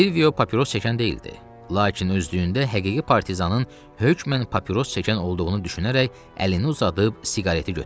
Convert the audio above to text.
Silvio papiros çəkən deyildi, lakin özlüyündə həqiqi partizanın hökmən papiros çəkən olduğunu düşünərək əlini uzadıb siqareti götürdü.